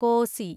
Kosi